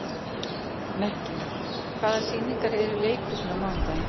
Mekkin, hvaða sýningar eru í leikhúsinu á mánudaginn?